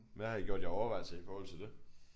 Hvad har I gjort jer af overvejelser i forhold til det?